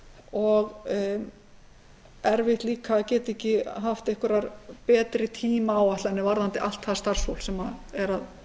og erfitt líka að geta ekki haft einhverjar betri tímaáætlanir varðandi allt það starfsfólk sem er að